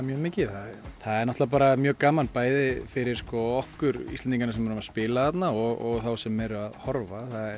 mjög mikið það er bara mjög gaman bæði fyrir okkur Íslendingana sem erum að spila þarna og þá sem eru að horfa það